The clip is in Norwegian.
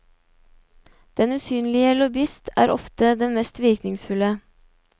Den usynlige lobbyist er ofte den mest virkningsfulle.